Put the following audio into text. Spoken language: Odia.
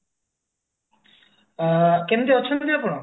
କେମତି ଅଛନ୍ତି ଆପଣ